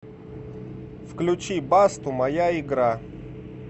включи басту моя игра